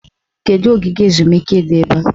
Kedụ ogige ezumike dị ebe a?